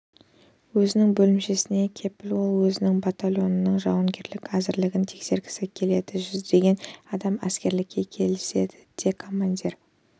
өзінің бөлімшесіне келіп ол өзінің батальонының жауынгерлік әзірлігін тексергісі келеді жүздеген адам әзірлікке кіріседі ал командир